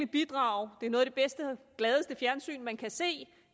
bidrage det er noget af det bedste og gladeste fjernsyn man kan se